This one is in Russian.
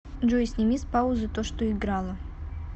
джой сними с паузы то что играло